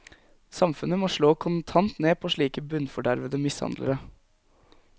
Samfunnet må slå kontant ned på slike bunnfordervede mishandlere.